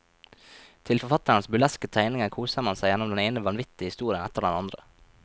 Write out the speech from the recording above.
Til forfatterens burleske tegninger koser man seg gjennom den ene vanvittige historien etter den andre.